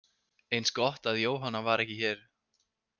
Eins gott að Jóhanna var ekki hér.